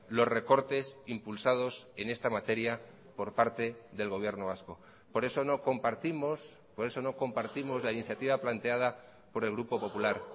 los recortes impulsados en esta materia por parte del gobierno vasco por eso no compartimos por eso no compartimos la iniciativa planteada por el grupo popular